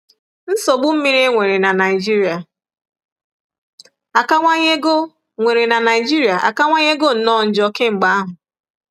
Nsogbu mmiri e nwere n'Naịjirịa akawanyego nwere n'Naịjirịa akawanyego nnọọ njọ kemgbe ahụ.